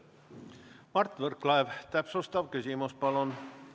Mart Võrklaev, täpsustav küsimus, palun!